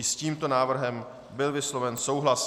I s tímto návrhem byl vysloven souhlas.